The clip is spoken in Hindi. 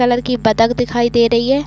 कलर की बत्तख़ दिखाई दे रही है।